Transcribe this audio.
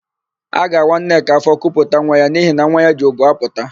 A ga-awa Nneka áfọ̀ kuputa nwa ya n'ihi na nwa ya ji ubu apụta.